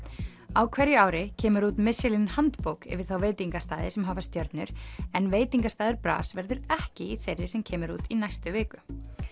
á hverju ári kemur út handbók yfir þá veitingastaði sem hafa stjörnur en veitingastaður bras verður ekki í þeirri sem kemur út í næstu viku